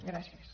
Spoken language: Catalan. gràcies